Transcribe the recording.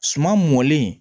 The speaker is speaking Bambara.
Suman mɔlen